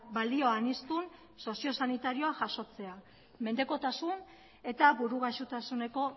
balioaniztun soziosanitarioa jasotzea mendekotasun eta buru gaixotasuneko